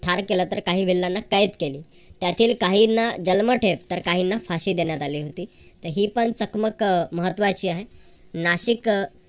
ठार केलं तर काही भिल्लांना कैद केलं. त्यातील काहींना जन्मठेप, तर काहींना फाशी देण्यात आलेली होती. तर ही पण चकमक महत्त्वाची आहे. नाशिक अह